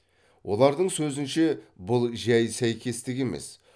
олардың сөзінше бұл жәй сәйкестік емес